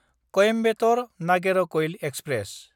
कॊइम्बेटर–नागेरकयल express